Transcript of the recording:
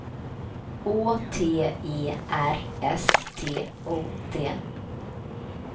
Å T E R S T O D